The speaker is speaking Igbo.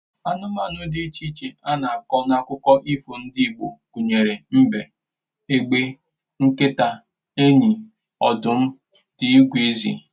Anụmanụ dị iche iche a na-akọ n'akụkọ ifo ndị Igbo gụnyere mbe, egbe, nkịta, enyi, ọdụm, dgz